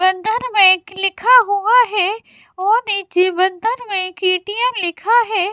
बंधन बैंक लिखा हुआ है और एक ये बंधन बैंक ए_टी_एम लिखा है।